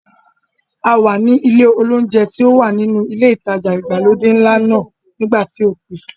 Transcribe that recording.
A wà ní ilé olóúnjẹ tí ó wà nínú ilé ìtajà ìgbàlódé ńlá náà nígbà tí o pè.